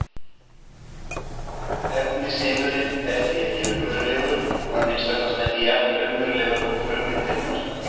Efnisheimurinn er því ekki raunverulegur, að minnsta kosti ekki jafn raunverulegur og frummyndirnar.